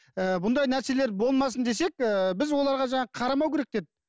ыыы бұндай нәрселер болмасын десек ііі біз оларға жаңағы қарамау керек деп